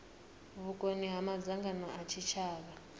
vhukoni ha madzangano a tshitshavha